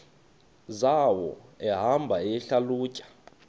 zawo ehamba eyihlalutya